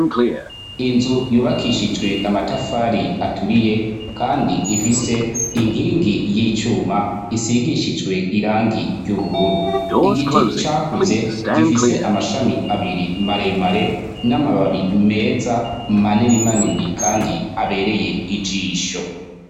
inzu yubakishijwe amatafari aturiye kandi ifise inkingi y'icyuma isigishijwe irangi ry'ubururu igiti cyakuze gifise amashami abiri maremare n'amababi meza manini manini kandi abereye ijisho